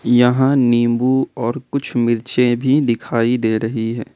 यहां नींबू और कुछ मिर्चें भी दिखाई दे रही हैं।